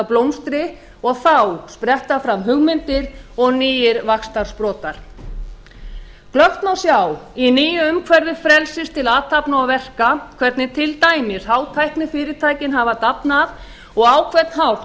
blómstri og þá spretta fram hugmyndir og nýir vaxtarsprotar glöggt má sjá í nýju umhverfi frelsis til athafna og verka hvernig til dæmis hátæknifyrirtækin hafa dafnað og á hvern hátt